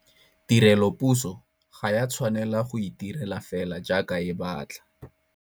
Tirelopuso ga ya tshwanela go itirela fela jaaka e batla.